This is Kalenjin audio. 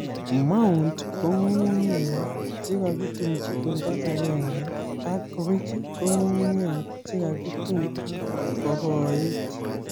Mound ko nyung'unyek che kakitumji olda agenge na ridge ko nyung'unyek che kakitum ak kokoit